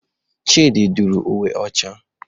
Chidị dụrụ uwe ọcha.